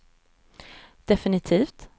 definitivt